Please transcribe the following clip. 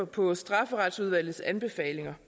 på strafferetsplejeudvalget anbefalinger